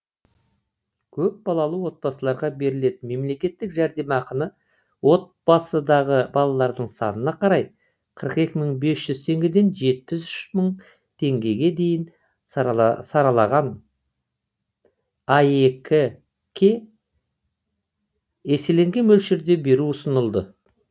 көпбалалы отбасыларға берілетін мемлекеттік жәрдемақыны отбасыдағы балалардың санына қарай қырық екі мың бес жүз теңгеден жетпіс үш мың теңгеге дейін сараланған аек ке еселенген мөлшерде беру ұсынылады